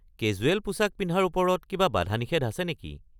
Casual পোছাক পিন্ধাৰ ওপৰত কিবা বাধা-নিষেধ আছে নেকি?